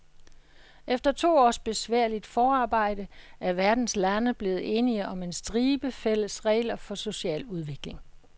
Efter to års besværligt forarbejde er verdens lande blevet enige om en stribe fælles regler for social udvikling.